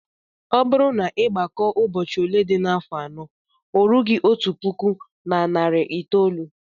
Ọ bụrụ na ị gbakọọ ụbọchị ole dị n'afọ anọ, o rughị otu puku na narị itoolu